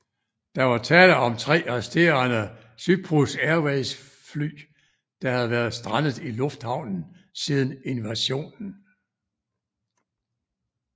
Der var tale om de tre resterende Cyprus Airways fly der havde været strandet i lufthavnen siden invasionen